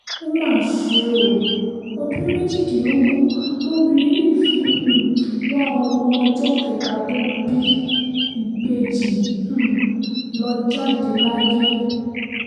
ó mà ṣe o ọdún méjìdínlógún lobìnrin yìí fi um wá ọmọ ọjọ́ kẹta tó bí ìbejì um lọ jáde láyé